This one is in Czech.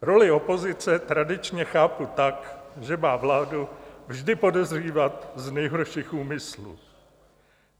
Roli opozice tradičně chápu tak, že má vládu vždy podezřívat z nejhorších úmyslů.